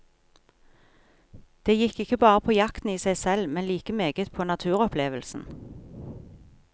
Det gikk ikke bare på jakten i seg selv, men like meget på naturopplevelsen.